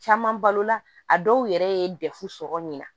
Caman balo la a dɔw yɛrɛ ye dɛfu sɔrɔ nin na